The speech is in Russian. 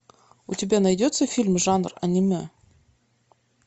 у тебя найдется фильм жанр аниме